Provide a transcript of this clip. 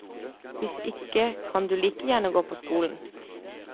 Hvis ikke kan du like gjerne gå på skolen.